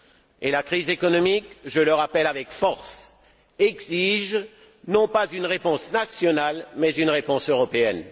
Et la crise économique je le rappelle avec force exige non pas une réponse nationale mais une réponse européenne.